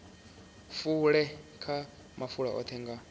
fule kha mafulo oṱhe nga